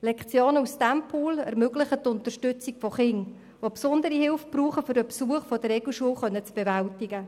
Lektionen aus diesem Pool ermöglichen die Unterstützung von Kindern, die besondere Hilfe benötigen, um den Besuch der Regelschule zu bewältigen.